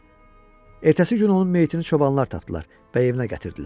Ertəsi gün onun meyitini çobanlar tapdılar və evinə gətirdilər.